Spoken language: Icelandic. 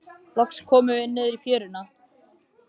Loks komum við niður í fjöruna.